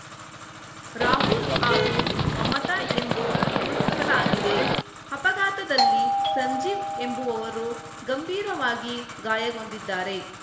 ರಾಹುಲ್‌ ಹಾಗೂ ಮಮತಾ ಎಂದು ಗುರುತಿಸಲಾಗಿದೆ ಅಪಘಾತದಲ್ಲಿ ಸಂಜೀವ್‌ ಎಂಬುವವರು ಗಂಬೀರವಾಗಿ ಗಾಯಗೊಂಡಿದ್ದಾರೆ